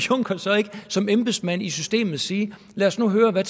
juncker så ikke som embedsmand i systemet sige lad os nu høre hvad